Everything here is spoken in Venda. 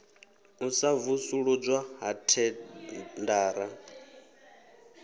u sa vusuludzwa ha thendara